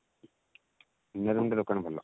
ସୁନା ଦୋକାନ କିନ୍ତୁ ଭଲ